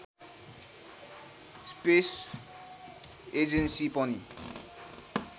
space agency पनि